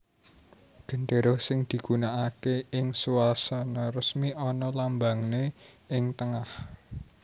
Gendéra sing digunakaké ing swasana resmi ana lambangé ing tengah